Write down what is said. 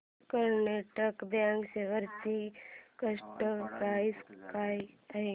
Karnataka bank shares ची current price काय आहे